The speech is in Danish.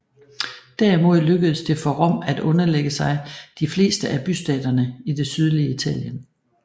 Derimod lykkedes det for Rom at underlægge sig de fleste af bystaterne i det sydlige Italien